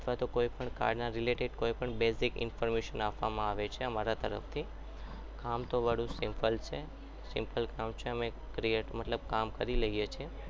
તો કોઈપણ કાળના related basic information આપવામાં આવે છે અમારા તરફથી આમ કામ તો અમારું simple છે simple કામ છે અમે simple કામ કરી લઈએ છીએ